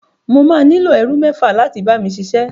Mo máa nílò ẹrú mẹ́fà láti bá mi ṣiṣẹ́.